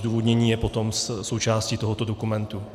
Zdůvodnění je potom součástí tohoto dokumentu.